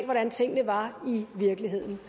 hvordan tingene var i virkeligheden